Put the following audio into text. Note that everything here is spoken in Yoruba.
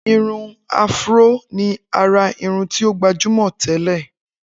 Irun áfúró ni àrà irun tí o gbajúmọ̀ tẹ́lẹ̀